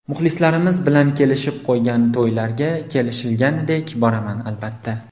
Muxlislarimiz bilan kelishib qo‘ygan to‘ylarga, kelishilganidek boraman, albatta.